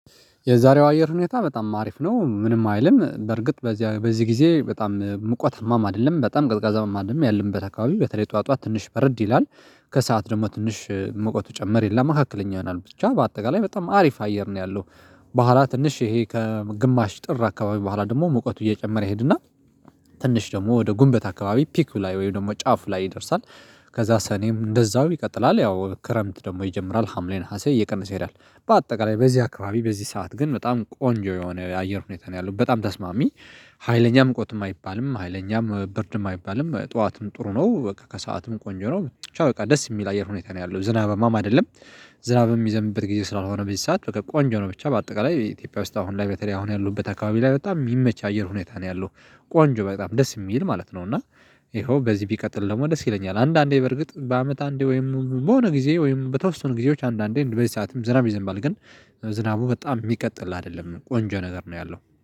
የዛሬው አየር ሁኔታ በጣም አሪፍ ነው ምንም አይልም በርግጥ በዚያ በዚህ ጊዜ በጣም ሙቀታማም አይደለም በጣም ቀዝቃዛማ አይደለም ያለምበት አካባቢ በተለይ ጠዋት ጠዋት ትንሽ በረድ ይላል። ከሰአት ደግሞ ትንሽ ሙቀቱ ጨመር ይልና መካከለኛ ይሆናል ብቻ በአጠቃላይ በጣም አሪፍ አየር ነው ያለው። በኋላ ትንሽ ይሄ ከግማሽ ጥር አካባቢ በኋላ ደግሞ ሙቀቱ እየጨመረ ይሄድና ትንሽ ደግሞ ወደ ጉንበት አካባቢ ፒኩ ላይ ወይም ደግሞ ጫፍ ላይ ይደርሳል። ከዛ ሰኔም እንደዛው ይቀጥላል ያው ክረምት ደግሞ ይጀምራል ሀምሌ ነሀሴ እየቀነሰ ይሄዳል። በአጠቃላይ በዚህ አካባቢ በዚህ ሰዓት ግን በጣም ቆንጆ የሆነ የአየር ሁኔታ ነው ያለው በጣም ተስማሚ። ሀይለኛ ሙቀትም አይባልም ሀይለኛም ብርድም አይባልም ጠዋትም ጥሩ ነው ከሰአትም ቆንጆ ነው ብቻ በቃ ደስ የሚል አየር ሁኔታ ነው ያለው ዝናብማም አይደለም። ዝናብ የሚዘምበት ጊዜ ስላልሆነ በዚህ ሰዓት በቃ ቆንጆ ነው ብቻ በአጠቃላይ ኢትዮጵያ ውስጥ አሁን ላይ በተለይ አሁን ያለውት አከባቢ ላይ በጣም የሚመች አየር ሁኔታ ነው ያለው። ቆንጆ በጣም ደስ የሚል ማለት ነው። እና ይኸው በዚህ ቢቀጥል ደግሞ ደስ ይለኛል። አንዳንዴ በርግጥ በአመት አንዴ ወይም በሆነ ጊዜ ወይም በተወሰኑ ጊዜዎች አንዳንዴ በዚህ ሰዓትም ዝናብ ይዘንባል ግን ዝናቡ በጣም የሚቀጥል አይደለም ቆንጆ ነገር ነው ያለው